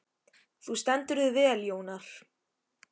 Þú stendur þig vel, Jónar!